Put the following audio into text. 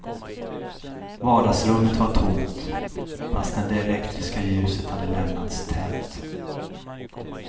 Vardagsrummet var tomt, fastän det elektriska ljuset hade lämnats tänt.